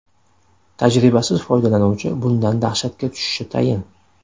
Tajribasiz foydalanuvchi bundan dahshatga tushishi tayin.